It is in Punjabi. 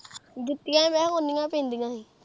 ਜੁੱਤੀਆਂ ਮੈਂ ਕਿਹਾ ਉੱਨੀਆ ਪੈਂਦੀਆ ਹੀ।